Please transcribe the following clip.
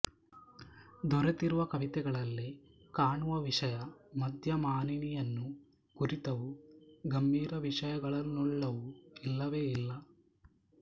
ದೊರೆತಿರುವ ಕವಿತೆಗಳಲ್ಲಿ ಕಾಣುವ ವಿಷಯ ಮದ್ಯ ಮಾನಿನಿಯನ್ನು ಕುರಿತವು ಗಂಭೀರ ವಿಷಯಗಳನ್ನುಳ್ಳವು ಇಲ್ಲವೇ ಇಲ್ಲ